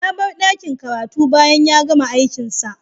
Ya bar ɗakin karatu bayan ya gama aikinsa